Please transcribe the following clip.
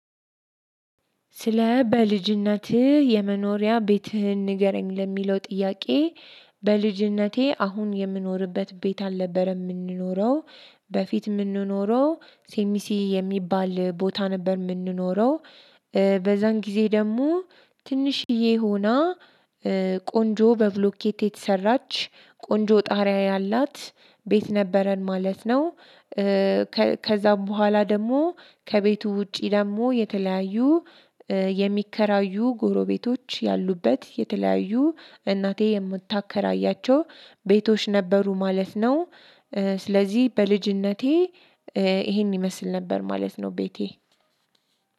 ስለ በልጅነትህ የመኖሪያ ቤትህን ንገረኝ ለሚለው ጥያቄ? በልጅነቴ አሁን የምኖርበት ቤት አልነበረም የምንኖረው በፊት የምንኖረው ሴሚሲ የሚባል ቦታ ነበር የምንኖረው። በዛን ጊዜ ደግሞ ትንሽዬ ሆና ቆንጆ በብሎኬት የተሰራች ቆንጆ ጣሪያ ያላት ቤት ነበረን ማለት ነው። ከዛም በኋላ ደግሞ ከቤቱ ውጪ ደግሞ የተለያዩ የሚከራዩ ጎሮቤቶች ያሉበት የተለያዩ እናቴ የምታከራያቸው ቤቶች ነበሩ ማለት ነው። ስለዚህ በልጅነቴ ይሄን ይመስል ነበር ማለት ነው። ቤቴ